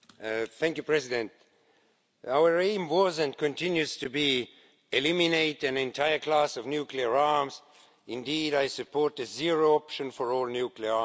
Mr President, our aim was, and continues to be, to eliminate an entire class of nuclear arms. Indeed, I support the zero option for all nuclear arms.